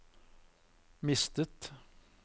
mistet